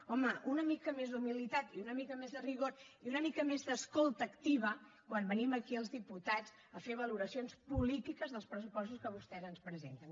home una mica més d’humilitat i una mica més de rigor i una mica més d’escolta activa quan venim aquí els diputats a fer valoracions polítiques dels pressupostos que vostès ens presenten